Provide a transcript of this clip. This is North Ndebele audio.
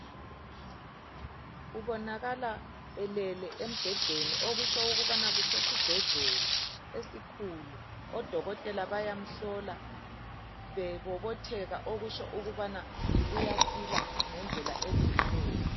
Ubonakala elele embhedeni okusho ukubana kusesibhedlela esikhulu, odokotela bayamhlola bebobotheka okusho ukubana uyasila ngendlela elungileyo